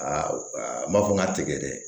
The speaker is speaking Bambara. Aa n b'a fɔ n ka tɛgɛ dɛ